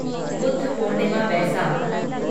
Buddha Purnima Baisakh